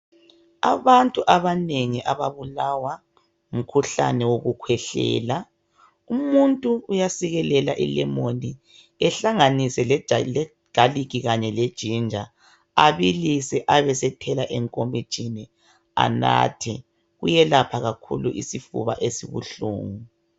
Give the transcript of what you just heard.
Abantu abanengi ababulawa ngumkhuhlane wokukhwehleela umuntu uya sikelela ilemoni ehlanganise legalic kanye leginger abilise abesethela enkomitshini enathe kuyelapha kakhulu isifuba esibuhlungu